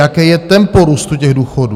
Jaké je tempo růstu těch důchodů?